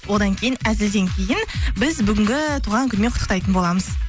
одан кейін әзілден кейін біз бүгінгі туған күнмен құттықтайтын боламыз